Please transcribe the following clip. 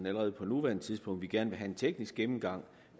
allerede på nuværende tidspunkt vi gerne vil have en teknisk gennemgang